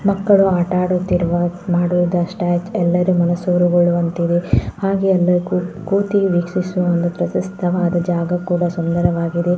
ಮಕ್ಕಳು ಆಟ ಆಡುತ್ತಿರುವ ಮಾಡುವಂಥ ಎಲ್ಲರ ಮನಸೂರೆಗೊಳ್ಳುವಂತಿದೆ ಹಾಗೆ ಎಲ್ಲರೂ ಕೂತಿ ವೀಕ್ಷಿಸುವಂಥ ಪ್ರಶಸ್ತವಾದ ಜಾಗ ಕೂಡ ಸುಂದರವಾಗಿದೆ.